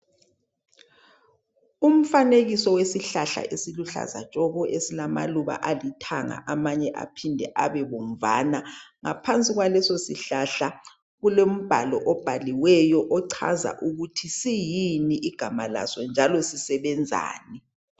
Umfanekiso wesihlahla esiluhlaza tshoko, esilamaluba alithanga amanye aphinde abe bomvana. Ngaphansi kwaleso sihlahla kulombhalo obhaliweyo, ochaza ukuthi siyini igama laso njalo sisebenzani.